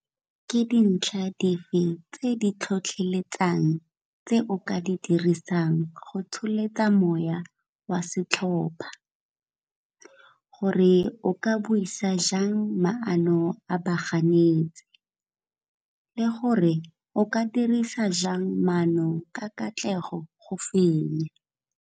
Ke dintlha dife tse di tlhotlheletsang tse o ka di dirisang go tsholetsa moya wa setlhopha, gore e o ka buisa jang maano a baganetsi le gore o ka dirisa jang maano ka katlego go fenya.